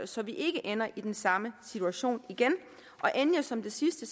så vi ikke ender i den samme situation igen endelig som det sidste